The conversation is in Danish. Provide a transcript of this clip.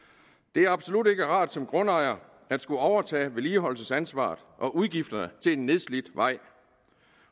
det er absolut ikke rart som grundejer at skulle overtage vedligeholdelsesansvaret og udgifterne til en nedslidt vej